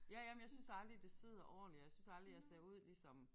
Ja jamen jeg synes aldrig det sidder ordentligt og jeg synes aldrig jeg ser ud ligesom